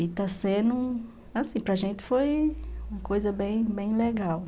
E está sendo, assim, para gente foi uma coisa bem bem legal.